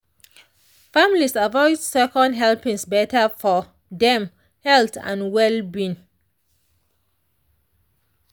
families avoid second helpings better for dem health and well-being.